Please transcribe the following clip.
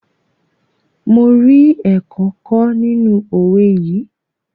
Mo rí ẹ̀kọ́ kọ́ nínú owé yìí.